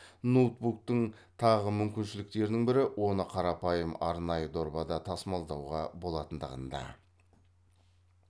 ноутбуктын тағы мүмкіншіліктерінің бірі оны қарапайым арнайы дорбада тасымалдауға болатындығында